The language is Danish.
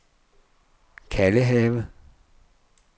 Kalvehave